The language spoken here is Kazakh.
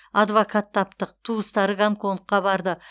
адвокат таптық туыстары гонконгқа барды